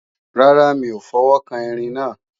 Rárá, mi ò fọwọ́kan Erin náà